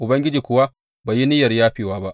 Ubangiji kuwa bai yi niyyar yafewa ba.